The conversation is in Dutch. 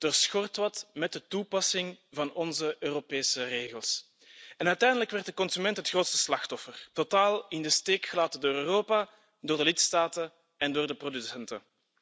Er schort wat met de toepassing van onze Europese regels en uiteindelijk werd de consument het grootste slachtoffer. Totaal in de steek gelaten door Europa, door de lidstaten en door de producenten.